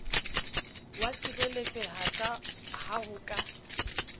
wa sireletseha ha ho ka